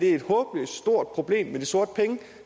er et håbløst stort problem